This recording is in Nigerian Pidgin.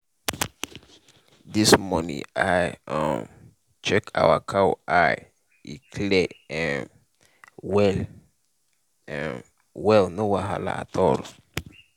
this morning i um check our cow eye e clear um well um well no wahala at all.